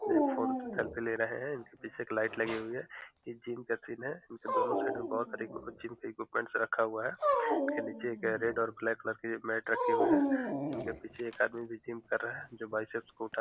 ने फ़ोन से सेल्फी ले रहे है इनके पीछे एक लाइट लगी हुई है ये जिम का सीन है नीचे दोनों साइड में बहुत सारी जिम के रखा हुआ है नीचे ब्लैक और रेड कलर के रखे हुए हैं इनके पीछे एक आदमी जिम कर रहा है जो बाइसेप्स को उठा --